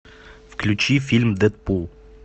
включи фильм дэдпул